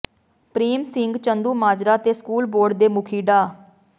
ਪ੍ਰੇਮ ਸਿੰਘ ਚੰਦੂਮਾਜਰਾ ਤੇ school board ਦੀ ਮੁਖੀ ਡਾ